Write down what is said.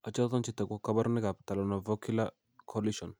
Achon chetogu ak kaborunoik ab Talonavicular coalition?